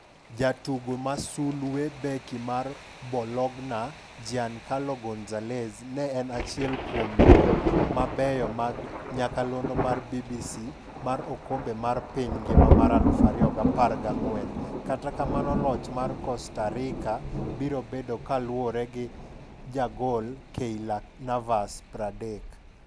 Jatugo masulwe: Beki mar Bologna, Giancarlo Gonzalez, ne en achiel kuom jo mabeyo mag nyakalondo mar BBC mar okombe mar piny ngima mar 2014 kata kamano loch mar Costa Rica biro bedo kaluore gi jagolKeylor Navas, 30.